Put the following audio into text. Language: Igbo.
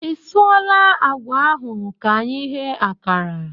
I suola àgwà ahụ ka anyị ghee ákàrà?